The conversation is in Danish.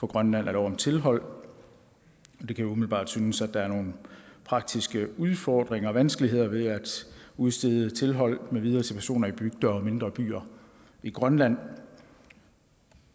grønland af lov om tilhold det kan umiddelbart synes at der er nogle praktiske udfordringer og vanskeligheder ved at udstede tilhold med videre til personer i bygder og mindre byer i grønland